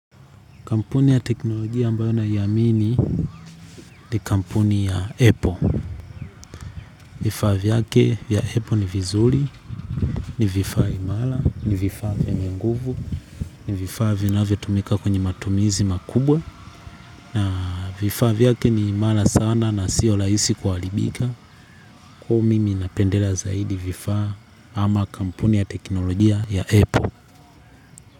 Kampuni ya teknolojia ambayo naiamini ni kampuni ya apple. Vifaa vyake vya apple ni vizuri, ni vifaa imara, ni vifaa vyenye nguvu, ni vifaa vinavyotumika kwenye matumizi makubwa. Na vifaa vyake ni imara sana na sio rahisi kuharibika. Kwa hiyo mimi napendela zaidi vifaa ama kampuni ya teknolojia ya apple.